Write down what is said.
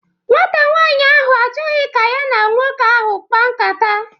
Nwata nwaanyị ahụ achọghọ ka ya na nwoke ahụ kpaa nkata